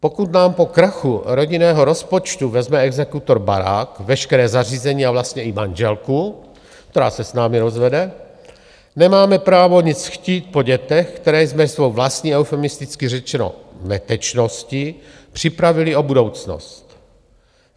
Pokud nám po krachu rodinného rozpočtu vezme exekutor barák, veškeré zařízení a vlastně i manželku, která se s námi rozvede, nemáme právo nic chtít po dětech, které jsme svou vlastní - eufemisticky řečeno - netečností připravili o budoucnost.